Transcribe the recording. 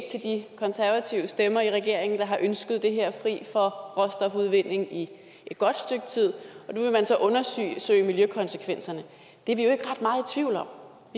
til de konservative stemmer i regeringen der har ønsket det her fri for råstofudvinding i et godt stykke tid og nu vil man så undersøge miljøkonsekvenserne det er vi jo ikke ret meget tvivl om